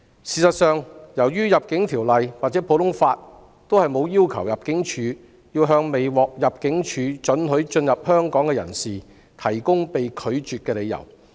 事實上，《入境條例》或普通法均沒有規定入境處須向未獲入境處准許進入香港的人士提供理由。